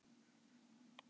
Maður man þetta alveg.